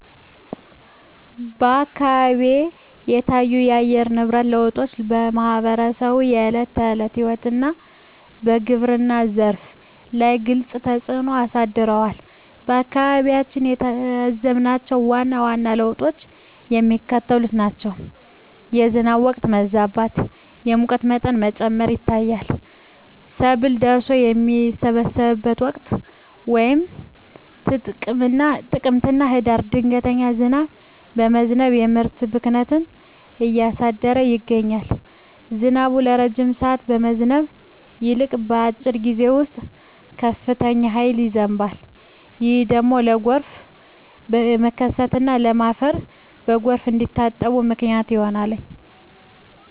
አካባቢዎች የታዩት የአየር ንብረት ለውጦች በማኅበረሰቡ የዕለት ተዕለት ሕይወትና በግብርናው ዘርፍ ላይ ግልጽ ተፅእኖ አሳድረዋል። በአካባቢያችን የታዘብናቸው ዋና ዋና ለውጦች የሚከተሉት ናቸው፦ የዝናብ ወቅት መዛባት፣ የሙቀት መጠን መጨመር ይታያል። ሰብል ደርሶ በሚሰበሰብበት ወቅት (ጥቅምትና ህዳር) ድንገተኛ ዝናብ በመዝነብ የምርት ብክነትን እያደረሰ ይገኛል። ዝናቡ ረጅም ሰዓት ከመዝነብ ይልቅ፣ በአጭር ጊዜ ውስጥ በከፍተኛ ኃይል ይዘንባል። ይህ ደግሞ ለጎርፍ መከሰትና ለም አፈር በጎርፍ እንዲታጠብ ምክንያት ሆኗል።